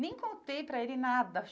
Nem contei para ele nada.